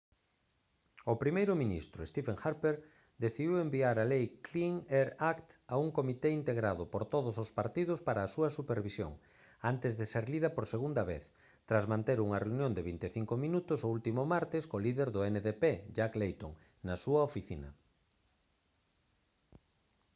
o primeiro ministro stephen harper decidiu enviar a lei clean air act a un comité integrado por todos os partidos para a súa revisión antes de ser lida por segunda vez tras manter unha reunión de vinte e cinco minutos o último martes co líder do ndp jack layton na súa oficina